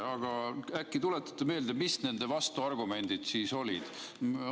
Aga äkki tuletate meelde, mis nende vastuargumendid siis olid?